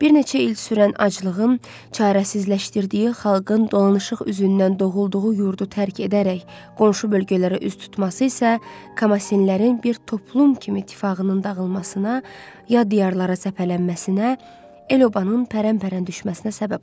Bir neçə il sürən aclığın çarəsizləşdirdiyi xalqın dolanışıq üzündən doğulduğu yurdu tərk edərək qonşu bölgələrə üz tutması isə Kamasinlərin bir toplum kimi tifaqının dağılmasına, yad diyarlara səpələnməsinə, el-obanın pərən-pərən düşməsinə səbəb oldu.